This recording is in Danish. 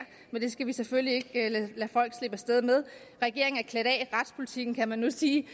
men det skal vi selvfølgelig ikke lade folk slippe af sted med regeringen er klædt af i retspolitikken kan man nu sige det